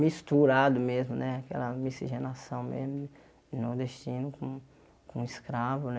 Misturado mesmo né, aquela miscigenação mesmo Nordestino com com escravo né.